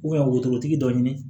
wotorotigi dɔ ɲini